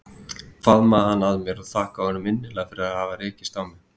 Faðmaði hann að mér og þakkaði honum innilega fyrir að hafa rekist á mig.